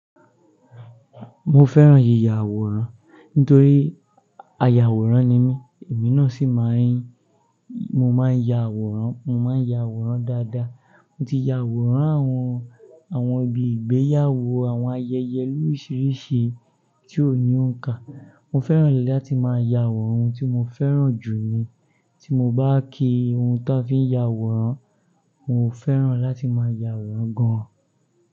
Mo fẹ́ràn yíya àwòrán nítorí ayàwòrán ni mí, èmi náà sì máa ń-- mo máa ń ya àwòrán, mo máa ń ya àwòrán dáadáa. Mo ti ya àwòrán àwọn, àwọn ibi ìgbéyàwó, àwọn ayẹyẹ lórísìíríṣìí tí òní ó ń kà. Mo fẹ́ràn láti máa ya àwòrán, ohun tí mo fẹ́ràn jù ni. Tí mo bá kí ohun ta fi ya àwòrán, mo fẹ́ràn láti máa ya àwòrán gan an.